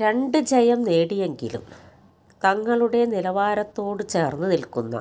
രണ്ട് ജയം നേടിയെങ്കിലും തങ്ങളുടെ നിലവാരത്തോട് ചേർന്ന് നിൽക്കുന്ന